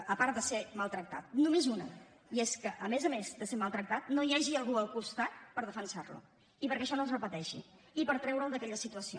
a part de ser maltractat només una i és que a més a més de ser maltractat no hi hagi algú al costat per defensar lo perquè això no es repeteixi i per treure’l d’aquesta situació